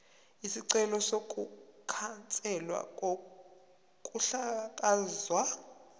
isicelo sokukhanselwa kokuhlakazwa